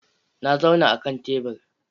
Na zauna a kan tebur.